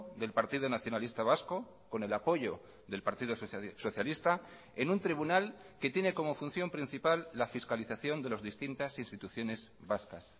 del partido nacionalista vasco con el apoyo del partido socialista en un tribunal que tiene como función principal la fiscalización de las distintas instituciones vascas